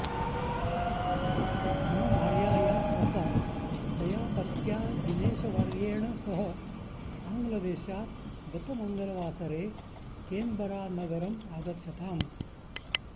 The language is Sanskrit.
मम भार्यायाः स्वसा तया पत्या दिनेशवर्येण सह आङ्ग्लदेशात् गत मङ्गलवासरे केन्बरानगरम् आगच्छताम्